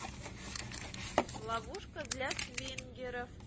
ловушка для свингеров